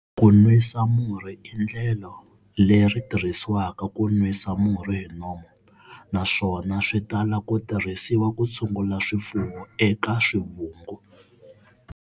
Ku nwisa murhi i endlelo leri tirhisiwaka ku nwisa murhi hi nomu, naswona swi tala ku tirhisiwa ku tshungula swifuwo eka swivungu.